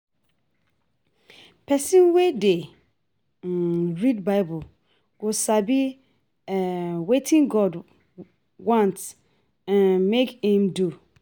Pesin wey dey um read bible go sabi um wetin God want um mek im do.